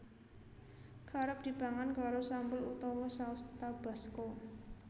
Kerep dipangan karo sambel utawa saus Tabasco